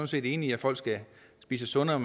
set enige i at folk skal spise sundere